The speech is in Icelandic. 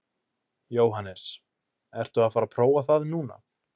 Jóhannes: Ertu að fara að prófa það núna?